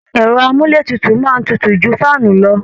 Ẹ̀rọ àmúlétutu máa tutù ju fáànù lọ